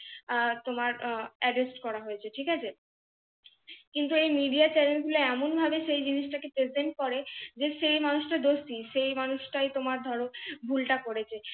তোমার arrest করা হয়েছে ঠিক আছে? কিন্তু এই MIDEA CHANNEL গুলো এমন ভাবে সেই জিনিসটা কে PRESENT করে যে সেই মানুষটা দোস্তি সেই মানুষটাই তোমার ধরো ভুলটা করেছে।